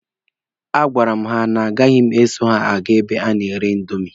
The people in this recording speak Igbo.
A gwara m ha na agaghị eso ha aga ebe a na-ere indomi.